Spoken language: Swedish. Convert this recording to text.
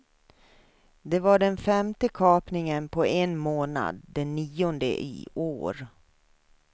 Det var den femte kapningen på en månad, den nionde i år.